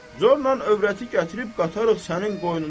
Zorla övrəti gətirib qatarıq sənin qoynuna.